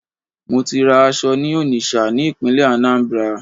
Mo ti ra aṣọ ní Onitsha ní ìpínlẹ̀ Anambra